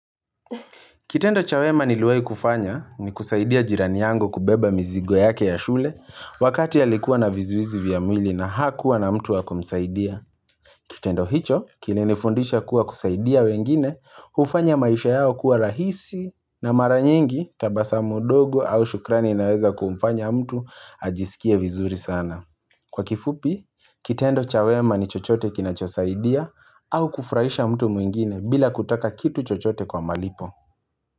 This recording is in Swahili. Kitendo cha wema niliwahi kufanya ni kusaidia jirani yangu kubeba mizigo yake ya shule wakati alikuwa na vizuizi vya mwili na hakuwa na mtu wa kumsaidia. Kitendo hicho kilinifundisha kuwa kusaidia wengine hufanya maisha yao kuwa rahisi na mara nyingi tabasamu dogo au shukrani inaweza kumfanya mtu ajisikie vizuri sana. Kwa kifupi, kitendo cha wema ni chochote kinachosaidia au kufurahisha mtu mwingine bila kutaka kitu chochote kwa malipo.